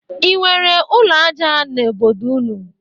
E nwere ụlọ aja n'obodo ụnụ?